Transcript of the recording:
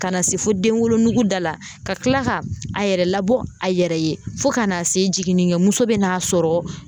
Ka na se fo denwolonugu da la ka tila ka a yɛrɛ labɔ a yɛrɛ ye fo ka na se jiginnikɛmuso bɛ n'a sɔrɔ